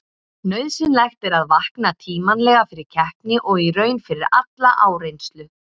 Nauðsynlegt er að vakna tímanlega fyrir keppni og í raun fyrir alla áreynslu.